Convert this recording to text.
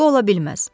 Bu ola bilməz.